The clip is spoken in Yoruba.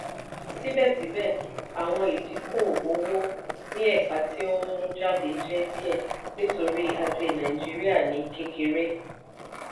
síbẹ̀síbẹ̀ àwọn ìdíkò-owò ní ẹ̀ka ti ohun mú jáde jẹ́ díẹ̀ nítorí ajé nàìjíríà ní kékeré.